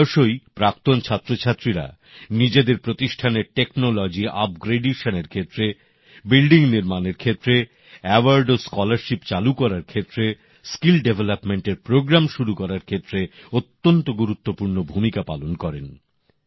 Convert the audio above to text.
প্রায়শই প্রাক্তন ছাত্রছাত্রীরা নিজেদের প্রতিষ্ঠানের প্রযুক্তির মানোন্নয়নের ক্ষেত্রে ভবন নির্মাণের ক্ষেত্রে পুরষ্কার ও বৃত্তি চালু করার ক্ষেত্রে দক্ষতা উন্নয়ন কর্মসূচী শুরু করার ক্ষেত্রে অত্যন্ত গুরুত্বপূর্ণ ভূমিকা পালন করেন